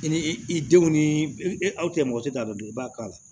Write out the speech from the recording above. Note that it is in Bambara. I ni i denw ni e aw cɛ mɔgɔ tɛ taa dɔ dɔn i b'a k'a la